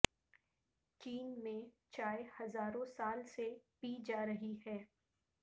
چین میں چائے ہزاروں سال سے پی جا رہی ہے